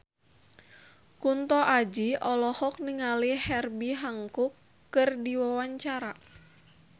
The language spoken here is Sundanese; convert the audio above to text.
Kunto Aji olohok ningali Herbie Hancock keur diwawancara